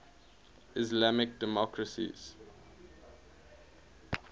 islamic democracies